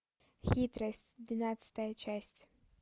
хитрость двенадцатая часть